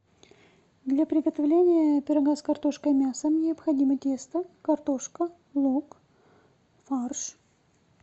для приготовления пирога с картошкой и мясом необходимо тесто картошка лук фарш